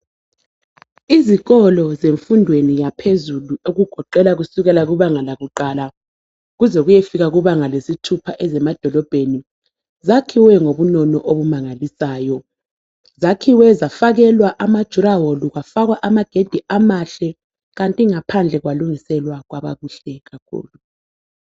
Izikolo zemfundweni yaphezulu okugoqela kusukela kubanga lakuqala kuze kuyefika kubanga lesithupha ezemadolobheni. Zakhiwe ngobunono obumangalisayo, zakhiwe zafakelwa amadurawall kwafakwa amagedi amahle. Kanti ngaphandle kwalungiselwa kwaba kuhle kakhulu.